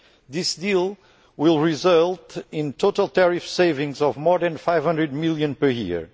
This deal will result in total tariff savings of more than EUR 500 million per year.